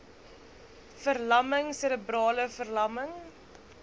verlamming serebrale verlamming